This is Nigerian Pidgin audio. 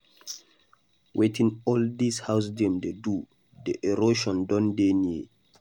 Wetin all dis house dem go do, the erosion Don dey near.